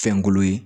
Fɛnkolo ye